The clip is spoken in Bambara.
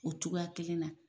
O cogoya kelen na.